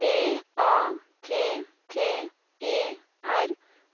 D A T T E R